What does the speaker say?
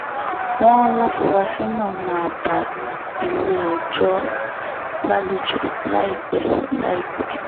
wọ́n láfuarasí náà máa bá ilé-ẹjọ́ lálejò láìpẹ́ láìpẹ́